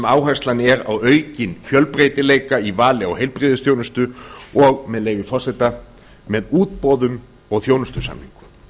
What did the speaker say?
áherslan er á aukinn fjölbreytileika í vali á heilbrigðisþjónustu og með leyfi forseta með útboðum og þjónustusamningum